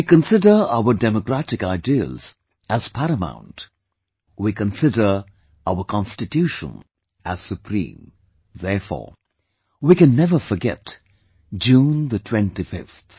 We consider our democratic ideals as paramount, we consider our Constitution as Supreme... therefore, we can never forget June the 25th